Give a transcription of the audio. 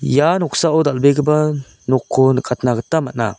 ia noksao dal·begipa nokko nikatna git man·a.